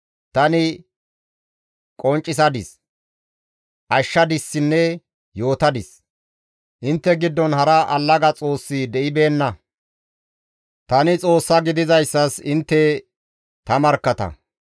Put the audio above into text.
Tani qonccisadis; ashshadissinne yootadis; intte giddon hara allaga xoossi de7ibeenna. Tani Xoossa gididayssas intte ta markkatta.